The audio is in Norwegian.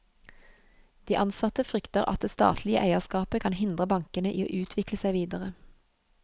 De ansatte frykter at det statlige eierskapet kan hindre bankene i å utvikle seg videre.